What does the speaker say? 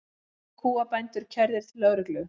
Níu kúabændur kærðir til lögreglu